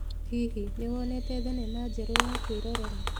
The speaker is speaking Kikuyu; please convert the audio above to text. Hihi, nĩ wonete thenema njerũ ya kwĩrorera?